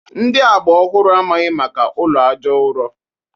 Ndi agba ọhụrụ amaghị maka ụlọ aja ụrọ